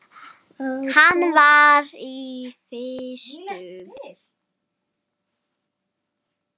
Hann var í vestur.